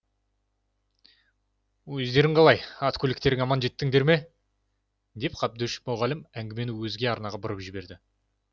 өздерің қалай ат көліктерің аман жеттіңдер ме деп қабдөш мұғалім әңгімені өзге арнаға бұрып жіберді